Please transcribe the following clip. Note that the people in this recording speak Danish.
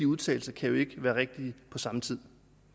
udtalelser kan jo ikke være rigtige på samme tid